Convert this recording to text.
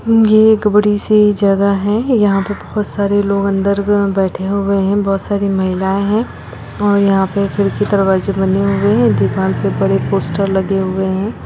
ये एक बड़ी सी जगह है यहाँ पे बहुत सारे लोग अंदर मे बैठे हुए है बहुत सारी महिलाये है और यहाँ पे खिड़की दरवाजे बने हुए है दीवाल के उपर एक पोस्टर लगे हुए है।